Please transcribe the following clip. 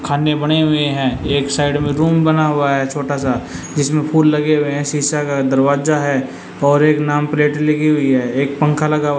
खाने बने हुए हैं एक साइड में रूम बना हुआ है छोटा सा जिसमें फूल लगे हुए हैं सीसा का दरवाजा है और एक नाम प्लेट लगी हुई है एक पंखा लगा हुआ--